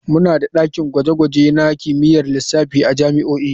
Muna da dakin gwaje-gwaje na kimiyyar lissafi a jami'o'i.